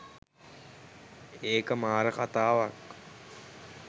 ඒක මාර කතාවක්.